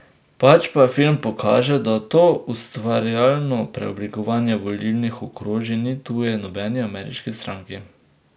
Pač pa film pokaže, da to ustvarjalno preoblikovanje volilnih okrožij ni tuje nobeni ameriški stranki.